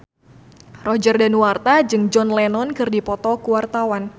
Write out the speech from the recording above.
Roger Danuarta jeung John Lennon keur dipoto ku wartawan